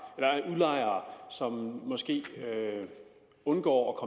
som måske undgår